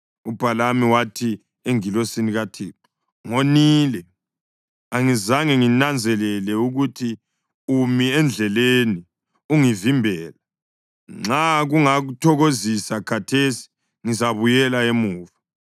UBhalamu wathi engilosini kaThixo, “Ngonile. Angizange nginanzelele ukuthi umi endleleni ukungivimbela. Nxa kungakuthokozisi khathesi, ngizabuyela emuva.”